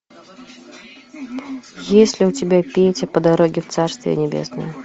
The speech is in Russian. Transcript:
есть ли у тебя петя по дороге в царствие небесное